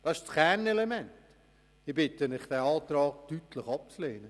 Ich bitte Sie, diesen Antrag deutlich abzulehnen.